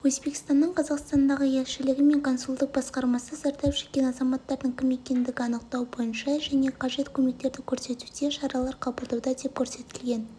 өзбекстанның қазақстандағы елшілігі мен консулдық басқармасы зардап шеккен азаматтардың кім екендігін анықтау бойынша және қажет көмектерді көрсетуде шаралар қабылдауда деп көрсетілген